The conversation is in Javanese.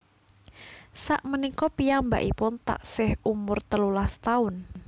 Sakmenika piyambakipun taksih umur telulas taun